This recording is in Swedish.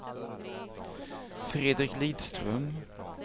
Fredrik Lidström